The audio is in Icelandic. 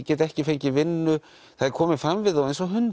geta ekki fengið vinnu það er komið fram við þá eins og hunda